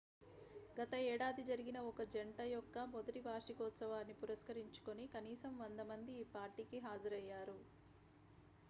గత ఏడాది జరిగిన ఒక జంట యొక్క మొదటి వార్షికోత్సవాన్ని పురస్కరించుకుని కనీసం 100 మంది ఈ పార్టీకి హాజరయ్యారు